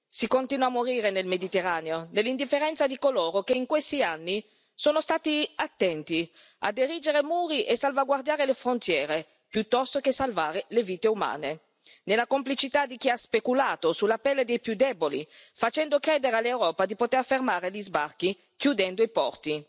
Si continua a morire nel Mediterraneo, nell'indifferenza di coloro che in questi anni sono stati attenti ad erigere muri e salvaguardare le frontiere, piuttosto che salvare le vite umane, nella complicità di chi ha speculato sulla pelle dei più deboli facendo credere all'Europa di poter fermare gli sbarchi chiudendo i porti